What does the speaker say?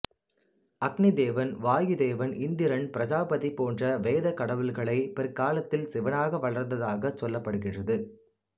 அக்னி தேவன் வாயு தேவன் இந்திரன் பிரஜாபதி போன்ற வேதக்கடவுள்களே பிற்காலத்தில் சிவனாக வளர்ந்ததாகச் சொல்லப்படுகின்றது